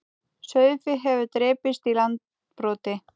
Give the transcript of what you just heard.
Sauðfé hefur drepist í Landbroti